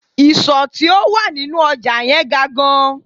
Ìsò tí ó wà nínú ọjà yẹn ga gan